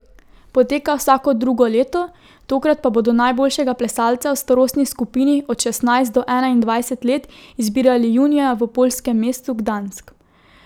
Poteka vsako drugo leto, tokrat pa bodo najboljšega plesalca v starostni skupini od šestnajst do enaindvajset let izbirali junija v poljskem mestu Gdansk.